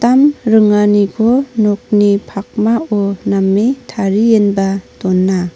ringaniko nokni pakmao name tarienba dona.